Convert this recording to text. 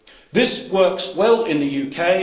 This works well in the UK.